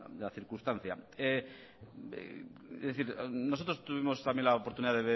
la circunstancia nosotros tuvimos también la oportunidad